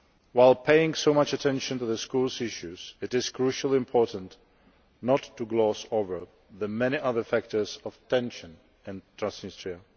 While paying so much attention to the schools issue, it is crucially important not to gloss over the many other factors of tension in Transnistria.